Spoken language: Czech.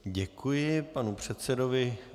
Děkuji panu předsedovi.